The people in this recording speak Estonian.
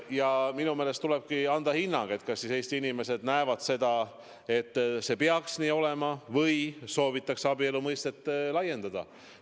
Ja minu meelest tulebki teada saada hinnang, kas Eesti inimesed arvavad seda, et see peaks nii jääma, või soovitakse abielu mõistet laiendada.